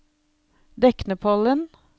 Deknepollen